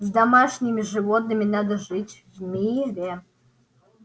с домашними животными надо жить в мире